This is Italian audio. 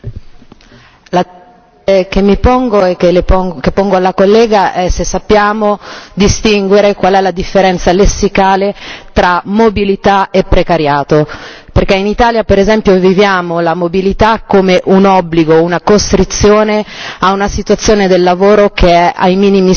Signora Presidente, onorevoli colleghi, la domanda che mi pongo e che pongo alla collega è se sappiamo distinguere qual è la differenza lessicale tra mobilità e precariato, perché in Italia, per esempio, viviamo la mobilità come un obbligo, una costrizione, in una situazione del lavoro che è ai minimi storici.